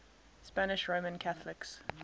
spanish roman catholics